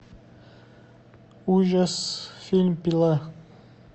ужас фильм пила